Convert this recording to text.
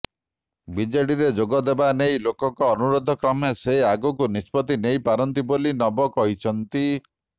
ବିଜେଡିରେ ଯୋଗ ଦେବା ନେଇ ଲୋକଙ୍କ ଅନୁରୋଧ କ୍ରମେ ସେ ଆଗକୁ ନିଷ୍ପତି ନେଇପାରନ୍ତି ବୋଲି ନବ କହିଛନ୍ତି